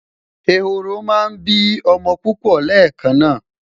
eworo má n bi omo pupo lekan na